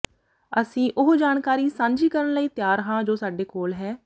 ਅਸੀਂ ਉਹ ਜਾਣਕਾਰੀ ਸਾਂਝੀ ਕਰਨ ਲਈ ਤਿਆਰ ਹਾਂ ਜੋ ਸਾਡੇ ਕੋਲ ਹੈ